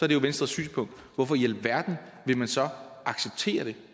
det jo venstres synspunkt og hvorfor i alverden vil man så acceptere det